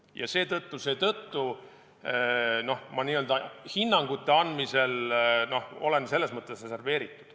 Ma olen seetõttu hinnangute andmisel reserveeritud.